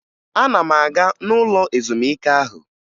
Ana m aga n'ụlọ ezumike ahụ